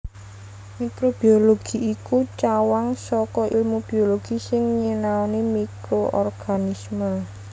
Mikrobiologi iku cawang saka èlmu biologi sing nyinaoni mikroorganisme